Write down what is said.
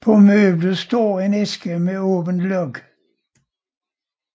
På møblet står en æske med åbent låg